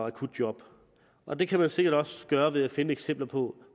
akutjob og det kan man sikkert også gøre ved at finde eksempler på